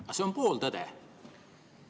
Aga see on pool tõde.